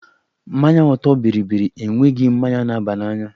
Mmanya ọtọ bịrịbịrị enweghị mmanya na-aba n'anya